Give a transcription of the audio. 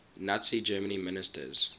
nazi germany ministers